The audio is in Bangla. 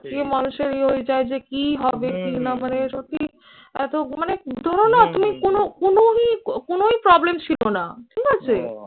ইয়ে মানুষের ওইটা যে কি হবে কি না মানে সত্যি এত মানে ধরো না তুমি কোনো কোনোই কোনোই problem ছিল না ঠিক আছে?